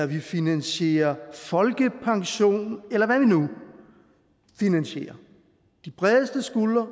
vi finansierer folkepension eller hvad vi nu finansierer de bredeste skuldre